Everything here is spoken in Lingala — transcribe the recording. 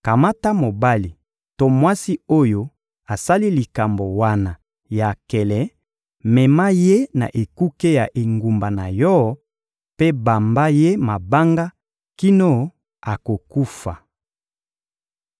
kamata mobali to mwasi oyo asali likambo wana ya nkele, mema ye na ekuke ya engumba na yo mpe bamba ye mabanga kino akokufa.